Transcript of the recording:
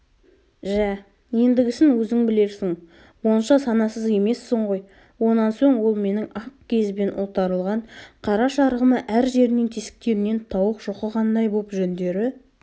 жә ендігісін өзің білерсің онша санасыз емессің ғой онан соң ол менің ақ киізбен ұлтарылған қара шарығыма әр жерінен тесіктерінен тауық шоқығандай боп жүндері